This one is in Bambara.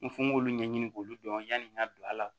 N ko fo n k'olu ɲɛɲini k'olu dɔn yanni n ka don ala la